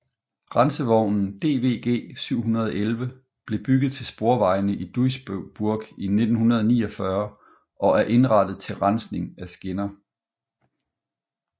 Rensevognen DVG 711 blev bygget til sporvejene i Duisburg i 1949 og er indrettet til rensning af skinner